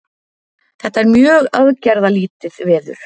Þetta er mjög aðgerðalítið veður